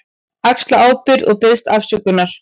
Axla ábyrgð og biðst afsökunar.